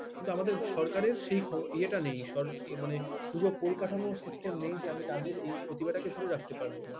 কিন্তু আমাদের সরকারের সেই year নেই মানে সুযোগ পরিকাঠামো system নেই যে আমি তাদের এই প্রতিভাটাকে ধরে রাখতে পারবো